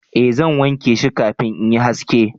eh zan wanke shi kafin in yi haski